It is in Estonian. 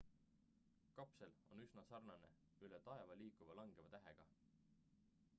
kapsel on üsna sarnane üle taeva liikuva langeva tähega